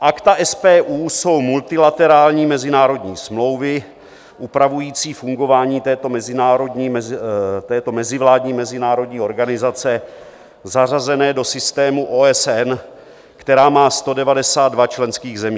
Akta SPU jsou multilaterální mezinárodní smlouvy upravující fungování této mezivládní mezinárodní organizace zařazené do systému OSN, která má 192 členských zemí.